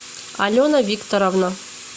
алена викторовна